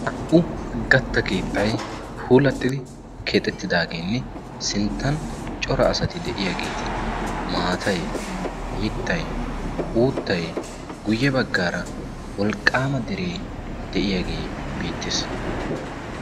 Naa''u gatta keettay puulattidi keexettidaageenne sinttan cora asati de'iyaageeti maatay mittay uuttay guyye baggaara wolqqaama deree de'iyaagee biittiis